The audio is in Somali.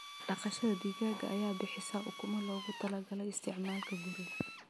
Dhaqashada digaaga ayaa bixisa ukumo loogu talagalay isticmaalka guriga.